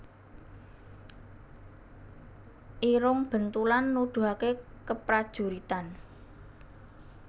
Irung Bentulan Nuduhaké keprajuritan